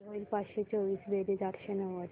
किती होईल पाचशे चोवीस बेरीज आठशे नव्वद